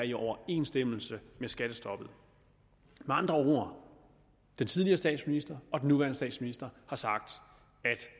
i overensstemmelse med skattestoppet med andre ord den tidligere statsminister og den nuværende statsminister har sagt